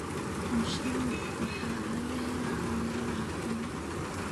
Mushrooms waxaa laga helaa meelaha qoyan.